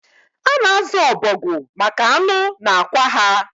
A na-azu ọbọgwụ maka anụ na akwa ha